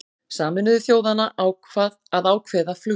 Sameinuðu þjóðanna að ákveða flugbann